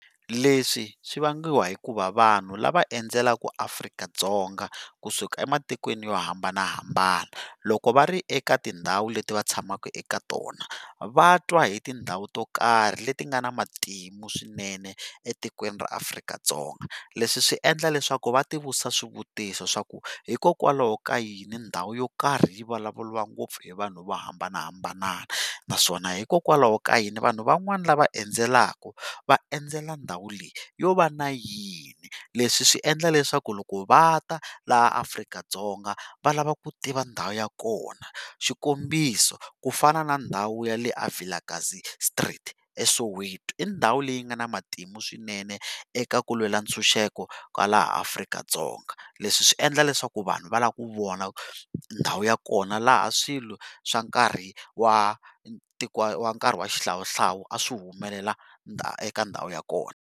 Leswi swi vangiwa hikuva vanhu lava endzelaka Afrika-Dzonga kusuka ematikweni yo hambanahambana loko va ri eka tindhawu leti va tshamaka eka tona va twa hi tindhawu to karhi leti nga na matimu swinene etikweni ra Afrika-Dzonga leswi swi endla leswaku va ti vutisa swivutiso swa ku hikokwalaho ka yini ndhawu yo karhi yi vulavuriwa ngopfu hi vanhu vo hambanahambana naswona hikokwalaho ka yini vanhu van'wana lava endzelaka va endzela ndhawu leyi yo va na yini leswi swi endla leswaku loko va ta laha Afrika-Dzonga va lava ku tiva ndhawu ya kona xikombiso ku fana na ndhawu ya le eVilakazi street eSoweto i ndhawu leyi nga na matimu swinene eka ku lwela ntshunxeko ka laha Afrika-Dzonga leswi swi endla leswaku vanhu va lava ku vona ndhawu ya kona laha swilo swa nkarhi wa wa nkarhi wa xihlawuhlawu a swi humelela eka ndhawu ya kona.